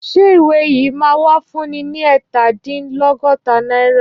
Ṣé ìwé yìí ṣì máa wà fún ni ẹ̀ta dín lọ́góta náírà?